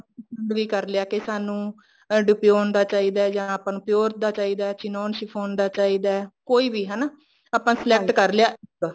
ਕਰ ਲਿਆ ਕੇ ਸਾਨੂੰ deepen ਦਾ ਚਾਹੀਦਾ ਜਾਂ ਆਪਾਂ ਨੂੰ pure ਦਾ ਚਾਹੀਦਾ ਚਿਨੋਨ ਸ਼ਿਫੋਨ ਦਾ ਚਾਹੀਦਾ ਕੋਈ ਵੀ ਹਨਾ ਆਪਾਂ select ਕਰ ਲਿਆ ਇੱਕ